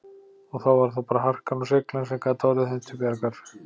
Og þá var það bara harkan og seiglan sem gat orðið þeim til bjargar.